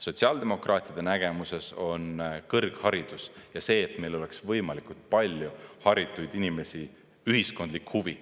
Sotsiaaldemokraatide nägemuses on kõrgharidus ja see, et meil oleks võimalikult palju haritud inimesi, ühiskondlik huvi.